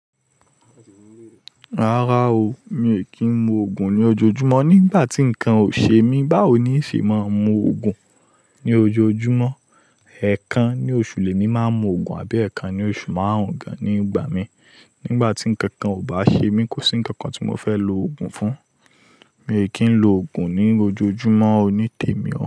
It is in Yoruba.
Rárá o, mi ò kí ń mu ògùn ní ojoojúmọ́ nígbà tí ǹkan ò ṣe mí. Báwo ni nṣe máa ń mu ògùn ní ojoojúmọ́? Ẹ̀kan ní oṣù lè ní máa mu ògùn àbí ẹ̀ẹ́kan ní oṣù máàrún gan ní ìgbà mi. Nígbà tí nkankan ò bá ṣe mí, kò sí nkankan tí mo fẹ́ lo ògùn fún. Mi ò kí ń lo ògùn ní ojoojúmọ́ o nítèmi o.